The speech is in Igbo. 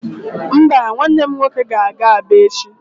Mba, nwanne m nwoke ga-aga Aba echi